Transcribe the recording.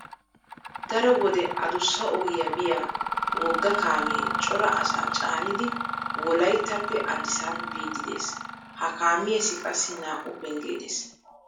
Daro wode adussa ogiya biya wogga kaamee cora asaa caanidi Wolayttappe aadisaabi biiddi de'ees. Ha kaamiyassi qassi naa"u penggee de'ees.